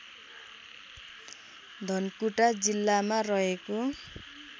धनकुटा जिल्लामा रहेको